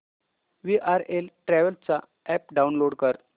VRL Travels चा app download कर